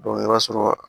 i b'a sɔrɔ